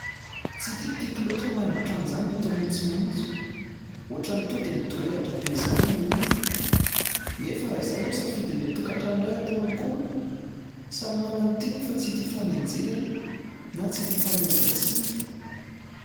Tsy dia tiako loatra raha ny haingo trano zany no atao maintsomaintso. Ohatrany tonga dia midorehitra be zany ilay izy. Nefa raha izay moa ny safidin'ny tokantrano iray, atao akory? Samy manana ny tiany io fa tsy hita hifanenjehana na tsy hita hifanomezan-tsiny.